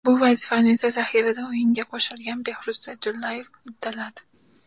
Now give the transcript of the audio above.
Bu vazifani esa zaxiradan o‘yinga qo‘shilgan Behruz Sa’dullayev uddaladi.